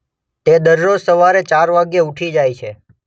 તે દરરોજ સવારે ચાર વાગ્યે ઊઠી જાય છે